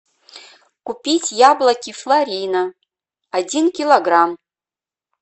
купить яблоки флорина один килограмм